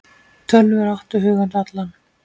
Tölvur áttu hug hans allan.